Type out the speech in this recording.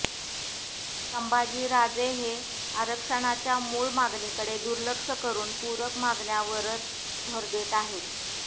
संभाजीराजे हे आरक्षणाच्या मूळ मागणीकडे दुर्लक्ष करून पूरक मागण्यावरच भर देत आहेत